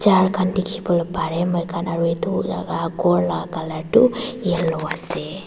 tikibo bare moi kan aro etu laka kor la tho yellow ase.